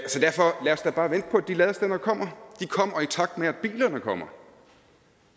de ladestandere de kommer i takt med bilerne kommer